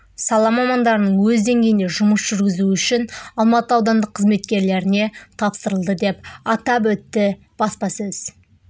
сала мамандарының өз деңгейінде жұмыс жүргізуі үшін алматы аудандық қызметкерлеріне тапсырылды деп атап өтті баспасөз